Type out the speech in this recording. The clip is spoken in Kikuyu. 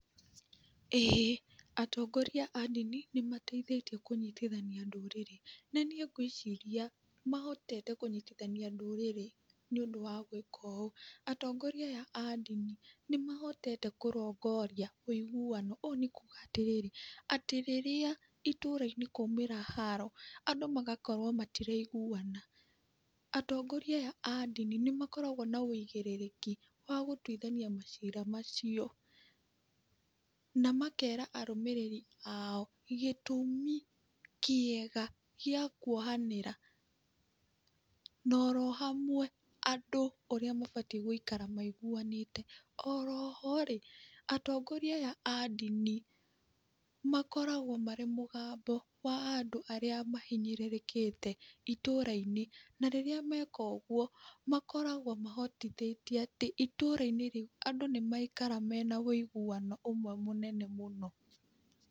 Ĩĩ atongoria a ndini, nĩ mateithĩtie kũnyitithania ndũrĩrĩ, na nĩĩ gwĩciria mahotete kũnyitithania ndũrĩrĩ, nĩ ũndũ wa gwĩka ũũ, atongoria aya a ndini nĩ mahotete kũrongoria wũiguwano ũũ nĩ kuga atĩrĩrĩ atĩ rĩrĩa ĩtũra-inĩ kwaumĩra haro andũ magakorwo matiraiguana, atongoria aya a ndini nĩ makoragwo na wũigĩrĩrĩki wa gũtwithania macira macio, na makera arũmĩrĩri ao gĩtũmi kĩega gĩa kuohanĩra, na orohamwe andũ ũrĩa mabatĩ gũikara maiguwanĩte. Oroho atongoria aya a ndini makoragwo marĩ mũgambo wa andũ arĩa mahinyĩrĩrĩkĩte ĩtũra-inĩ, na rĩrĩa meka ũguo makoragwo mahotithĩtie atĩ ĩtũra-inĩ rĩu andũ nĩ maikara mena wũiguwano ũmwe mũnene mũno .